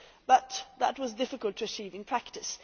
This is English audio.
But that was difficult to achieve in practice.